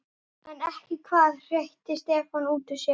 En ekki hvað? hreytti Stefán út úr sér.